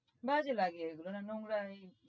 বাজে লাগে এগুলো নোংরা এই